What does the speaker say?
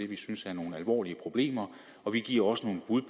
vi synes er nogle alvorlige problemer og vi giver også nogle bud